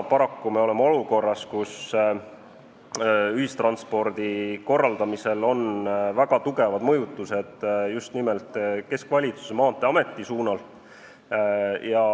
Praegu me oleme paraku olukorras, kus ühistranspordi korraldamisel on väga tugevad mõjutused just nimelt keskvalitsuse, Maanteeameti suunal.